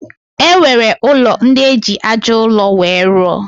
E nwere ụlọ ndị e ji aja ụlọ wee rụọ.